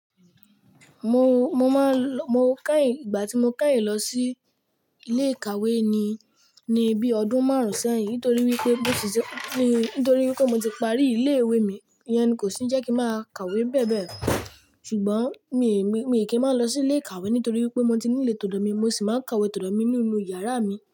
Mo, mo máa ń lọ, mo kẹ́yìn ìgbà tí mo kẹ́yìn lọ sí ilé ìkàwé ni, ni bí ọdún márùn-ún sẹ́yìn nítorí wí pé mo ti sẹ-- ni nítorí wí pé mo ti parí ilé-ìwé mi, ìyẹn kò se jẹ́ kí ń máa kàwé bẹ́ẹ̀ bẹ́ẹ̀. Ṣùgbọ́n mi mi, mi kì í máa lọ sí ilé ìkàwé nítorí wí pé mo ti nílé tòdò mi, mo sì máa ń kàwé tòdò mi nínú yàrá mi.